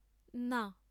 না।